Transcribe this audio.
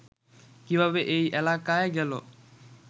কিভাবে ওই এলাকায় গেল